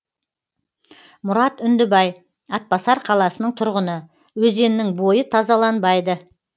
мұрат үндібай атбасар қаласының тұрғыны өзеннің бойы тазаланбайды